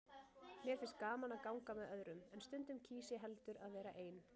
Mér finnst gaman að ganga með öðrum, en stundum kýs ég heldur að vera ein.